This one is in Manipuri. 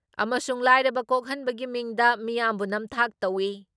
ꯑꯃꯁꯨꯡ ꯂꯥꯏꯔꯕ ꯀꯣꯛꯍꯟꯕꯒꯤ ꯃꯤꯡꯗ ꯃꯤꯌꯥꯝꯕꯨ ꯅꯝꯊꯥꯛ ꯇꯧꯏ ꯫